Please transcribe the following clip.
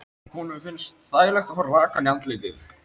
Honum finnst þægilegt að fá rakann í andlitið.